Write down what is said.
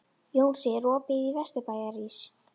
Jónsi, er opið í Vesturbæjarís?